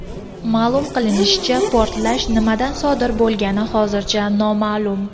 Ma’lum qilinishicha, portlash nimadan sodir bo‘lgani hozircha noma’lum.